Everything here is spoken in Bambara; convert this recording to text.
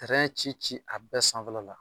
Tɛrɛn ci ci a bɛɛ sanfɛla la